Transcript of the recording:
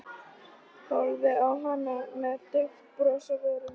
Horfði á hana með dauft bros á vörunum.